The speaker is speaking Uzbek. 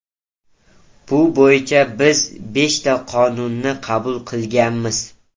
Bu bo‘yicha biz beshta qonunni qabul qilganmiz.